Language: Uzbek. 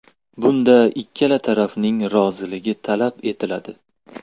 Bunda ikkala tarafning roziligi talab etiladi.